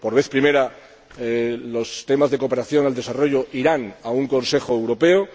Por vez primera, los temas de cooperación al desarrollo irán a un Consejo Europeo.